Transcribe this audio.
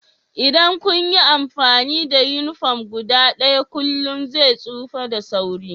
Idan kun yi amfani da uniform guda ɗaya kullum zai tsufa da sauri